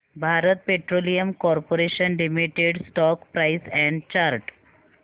Bharat petroleum corporation limited stock price and chart